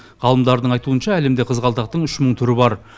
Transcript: ғалымдардың айтуынша әлемде қызғалдақтың үш мың түрі бар